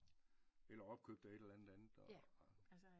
Eller opkøbt af et eller andet